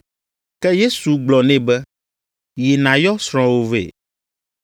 Ke Yesu gblɔ nɛ be, “Yi nàyɔ srɔ̃wò vɛ.”